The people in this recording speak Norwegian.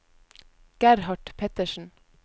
Gerhard Pettersen